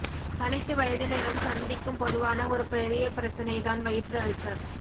அனைத்து வயதினரும் சந்திக்கும் பொதுவான ஒரு பெரிய பிரச்சனை தான் வயிற்று அல்சர்